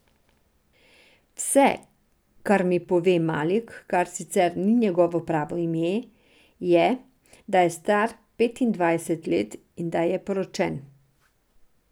Vse, kar mi pove Malik, kar sicer ni njegovo pravo ime, je, da je star petindvajset let in da je poročen.